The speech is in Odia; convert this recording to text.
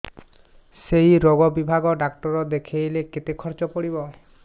ସେଇ ରୋଗ ବିଭାଗ ଡ଼ାକ୍ତର ଦେଖେଇଲେ କେତେ ଖର୍ଚ୍ଚ ପଡିବ